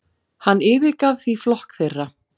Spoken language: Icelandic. Hann yfirgaf því flokk þeirra.